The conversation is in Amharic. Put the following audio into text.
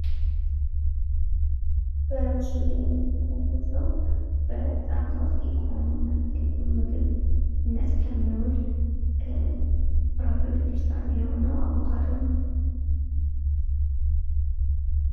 በምስሉ ላይ የምንመለከተው በጣም ታዋቂ ከሆነው እና ለተለያዩ ምግብነት ከሚውል ፍራፍሬ ውስጥ አንዱ የሆነው አቮካዶ ነው።